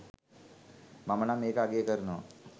මමනම් ඒක අගය කරනවා